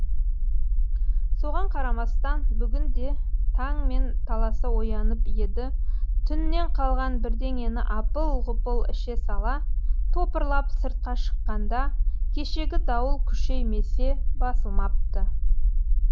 соған қарамастан бүгін де таңмен таласа оянып еді түннен қалған бірдеңені апыл ғұпыл іше сала топырлап сыртқа шыққанда кешегі дауыл күшеймесе басылмапты